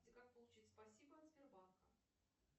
как получить спасибо от сбербанка